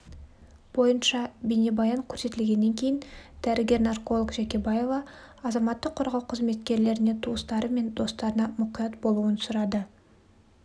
бойынша бейнебаян көрсетілгеннен кейін дәрігер-нарколог жәкебаева азаматтық қорғау қызметкерлеріне туыстары мен достарына мұқият болуын сұрады